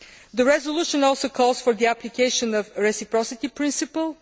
The resolution also calls for the application of a reciprocity principle.